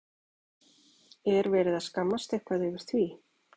Er verið að skammast eitthvað yfir því?